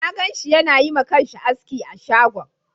Na ganshi yana yi ma kansa aski a shagon